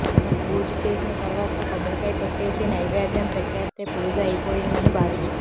మనం పూజ చేసిన తర్వాత కొబ్బరికాయ కొట్టేసి నైవేద్యం పెట్టేస్తే పూజ అయ్యిపోయిందని భావిస్తాం